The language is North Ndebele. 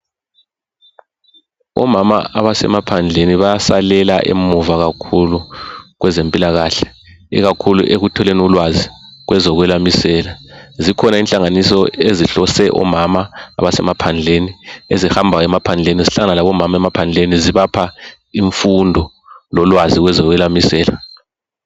Omama abasemaphandleni bayasalela emuva kakhulu kwezempilakahle ikakhulu ekutholeni ulwazi kwezo kwelamisela zikhona inhlanganiso ezihlose omama abasemaphandleni ezihamba emaphandleni zihlangane labomama emaphandleni zibapha imfundo lolwazi kwezo kwelamisela.